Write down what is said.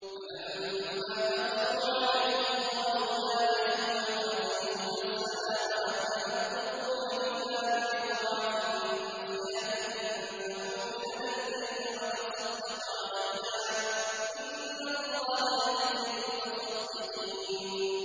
فَلَمَّا دَخَلُوا عَلَيْهِ قَالُوا يَا أَيُّهَا الْعَزِيزُ مَسَّنَا وَأَهْلَنَا الضُّرُّ وَجِئْنَا بِبِضَاعَةٍ مُّزْجَاةٍ فَأَوْفِ لَنَا الْكَيْلَ وَتَصَدَّقْ عَلَيْنَا ۖ إِنَّ اللَّهَ يَجْزِي الْمُتَصَدِّقِينَ